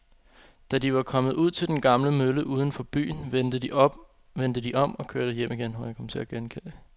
Da de var kommet ud til den gamle mølle uden for byen, vendte de om og kørte hjem igen.